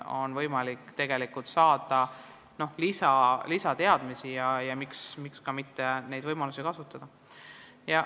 On võimalik saada lisateadmisi ja miks ka mitte neid võimalusi kasutada.